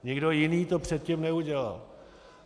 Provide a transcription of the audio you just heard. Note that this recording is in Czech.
Nikdo jiný to předtím neudělal.